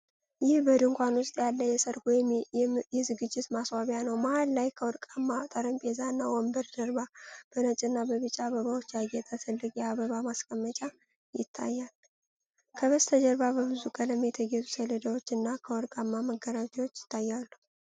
ይህ በድንኳን ውስጥ ያለ የሠርግ ወይም የዝግጅት ማስዋቢያ ነው። መሃል ላይ ከወርቃማ ጠረጴዛና ወንበር ጀርባ፤ በነጭና በቢጫ አበባዎች ያጌጠ ትልቅ የአበባ አቀማመጥ ይታያል። ከበስተጀርባ በብዙ ቀለም የተጌጡ ሰሌዳዎች እና ከወርቃማ መጋረጃዎች ይታያሉ።